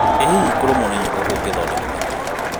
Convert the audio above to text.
ĩ hihi kũrũmwo nĩ nyoka kũngĩthondekwo atĩa na mĩtukĩ?